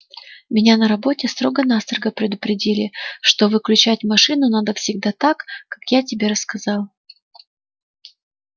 меня на работе строго-настрого предупредили что выключать машину надо всегда так как я тебе рассказал